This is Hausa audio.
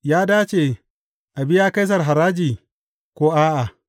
Ya dace a biya Kaisar haraji ko a’a?